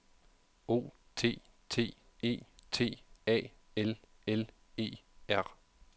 O T T E T A L L E R